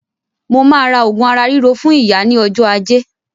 Mo ma rà òògùn ara ríro fún ìyá ní ọjọ́ ajé